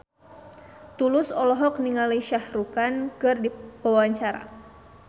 Tulus olohok ningali Shah Rukh Khan keur diwawancara